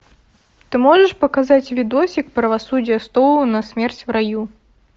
ты можешь показать видосик правосудие стоуна смерть в раю